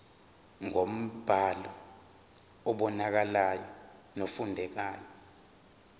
ngombhalo obonakalayo nofundekayo